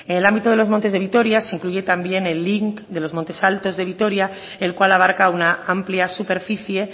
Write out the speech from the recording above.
en el ámbito de los montes de vitoria se incluye también el lic de los montes altos de vitoria el cual abarca una amplia superficie